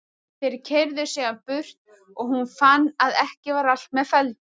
Þeir keyrðu síðan burt og hún fann að ekki var allt með felldu.